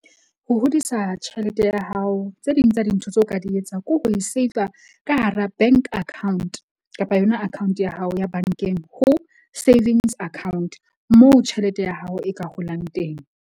Ho hodisa tjhelete ya hao, tse ding tsa dintho tseo ka di etsang, ke ho e save-a ka hara bank account kapa yona account ya hao ya bank-eng ho savings account, moo tjhelete ya hao e ka holang teng.